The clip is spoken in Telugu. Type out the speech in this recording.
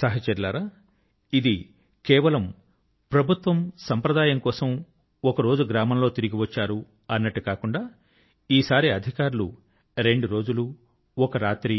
సహచరులారా ఇది కేవలం ప్రభుత్వం సాంప్రదాయం కోసం ఒక రోజు గ్రామం లో తిరిగి వచ్చారు అన్నట్టు కాకుండా ఈ సారి అధికారులు రెండు రోజులు ఒక రాత్రి